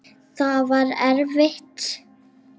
Það var erfitt.